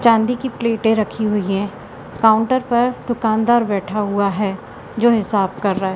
चांदी की प्लेटें रखी हुई है काउंटर पर दुकानदार बैठा हुआ है जो हिसाब कर रहा है।